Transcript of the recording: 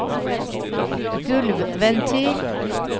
gulvventil